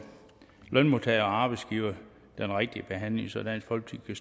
lønmodtagere og arbejdsgivere den rigtige behandling så dansk folkeparti